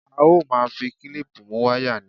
A ó máa fi klíìpù mú wáyà ni